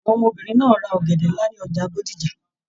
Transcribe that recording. Àwọn ọmọbìnrin náà ra ọ̀gẹ̀dẹ̀ nlá ni ọjà Bódìjà.